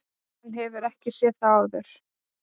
Hann hefur ekki séð þá áður.